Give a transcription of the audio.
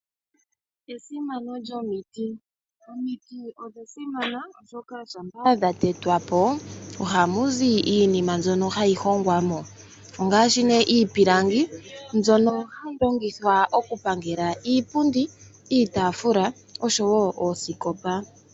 Esimano lyomiti. Omiti odha simana, oshoka ngele dha tetwa po ohamu zi iinima mbyono hayi hongwa mo, ngaashi iipilangi mbyono hayi longithwa okupangela iipundi, iitaafula oshowo oosikopa.